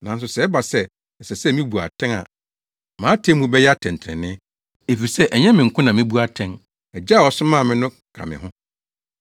Nanso sɛ ɛba sɛ ɛsɛ sɛ mibu atɛn a mʼatemmu bɛyɛ atɛntrenee, efisɛ ɛnyɛ me nko na mebu atɛn; Agya a ɔsomaa me no ka me ho.